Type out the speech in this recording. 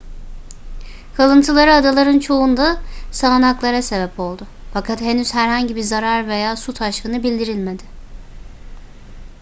kalıntıları adaların çoğunda sağanaklara sebep oldu fakat henüz herhangi bir zarar veya su taşkını bildirilmedi